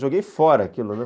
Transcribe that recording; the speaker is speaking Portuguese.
Joguei fora aquilo, né?